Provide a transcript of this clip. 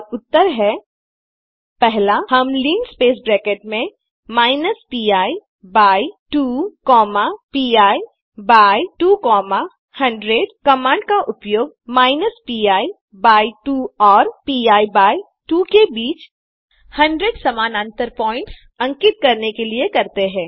और उत्तर हैं पहला हम लिनस्पेस ब्रैकेट में minus p by 2 comma p by 2 comma 100 command का उपयोग माइनस पी बाय 2 और पी बाय 2 के बीच 100 समानांतर पॉइंट्स अंकित करने के लिए करते हैं